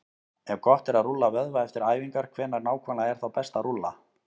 Ef gott er að rúlla vöðva eftir æfingar, hvenær nákvæmlega er þá best að rúlla?